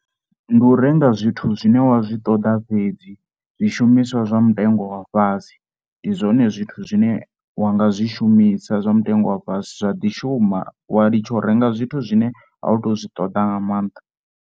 Ndi u renga zwithu zwine wa zwi ṱoḓa fhedzi, zwishumiswa zwa mutengo wa fhasi ndi zwone zwithu zwine wa nga zwishumisa zwa mutengo wa fhasi zwa ḓi shuma wa ḽitsha u renga zwithu zwine a u tou zwi ṱoḓa nga maanḓa.